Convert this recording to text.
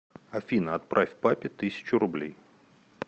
афина отправь папе тысячу рублей